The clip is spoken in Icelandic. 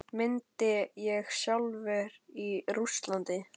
Myndi ég þjálfa í Rússlandi?